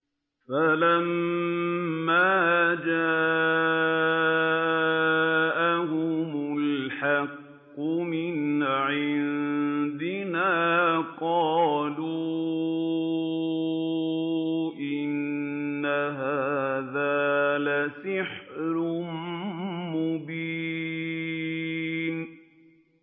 فَلَمَّا جَاءَهُمُ الْحَقُّ مِنْ عِندِنَا قَالُوا إِنَّ هَٰذَا لَسِحْرٌ مُّبِينٌ